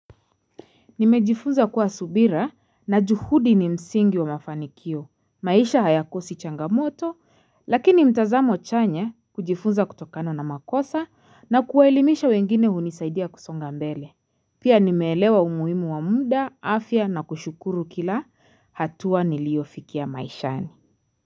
Nimejifunza kuwa subira na juhudi ni msingi wa mafanikio. Maisha hayakosi changamoto, lakini mtazamo chanya kujifunza kutokano na makosa na kuwaelimisha wengine hunisaidia kusonga mbele. Pia nimelewa umuhimu wa muda, afya na kushukuru kila hatua niliofikia maishani.